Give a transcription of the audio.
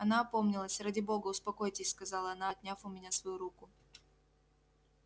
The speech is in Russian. она опомнилась ради бога успокойтесь сказала она отняв у меня свою руку